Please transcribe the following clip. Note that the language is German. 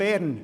Bern: